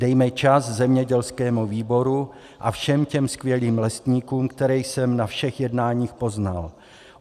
Dejme čas zemědělskému výboru a všem těm skvělým lesníkům, které jsem na všech jednáních poznal.